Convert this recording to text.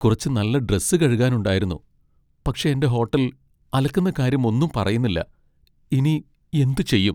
കുറച്ച് നല്ല ഡ്രസ്സ് കഴുകാനുണ്ടായിരുന്നു, പക്ഷേ എന്റെ ഹോട്ടൽ അലക്കുന്ന കാര്യം ഒന്നും പറയുന്നില്ല, ഇനി എന്ത് ചെയ്യും?